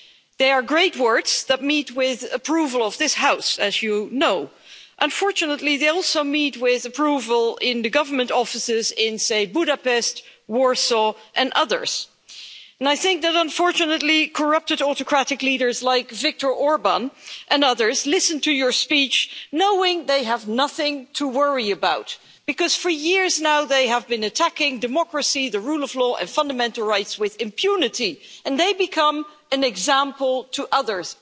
They are great words that meet with the approval of this House, as you know. Unfortunately, they also meet with the approval of the government offices in, say, Budapest, Warsaw and other places, and I think that, unfortunately, corrupt, autocratic leaders like Viktor Orbán and others listen to your speech knowing that they have nothing to worry about, because for years now they have been attacking democracy, the rule of law and fundamental rights with impunity, and they have become an example to others.